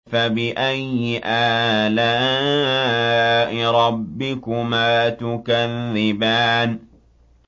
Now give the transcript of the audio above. فَبِأَيِّ آلَاءِ رَبِّكُمَا تُكَذِّبَانِ